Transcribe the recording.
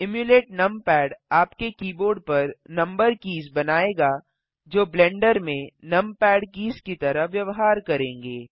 emulate numpad आपके keyboard पर number keys बनायेगा जो ब्लेंडर में नमपैड कीज की तरह व्यवहार करेंगे